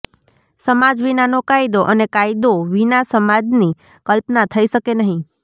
સમાજ વિનાનો કાયદો અને કાયદો વિના સમાજની કલ્પના થઇ શકે નહીં